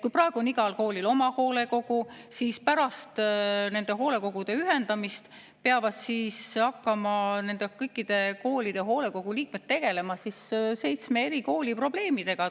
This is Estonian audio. Praegu on igal koolil oma hoolekogu, aga pärast nende hoolekogude ühendamist peavad hakkama nende kõikide koolide hoolekogude liikmed tegelema seitsme eri kooli probleemidega.